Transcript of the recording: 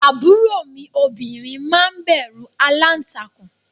Àbúrò mi obìnrin máa ń bẹ̀rù aláǹtakùn